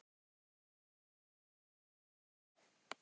En hversu mikill er munurinn?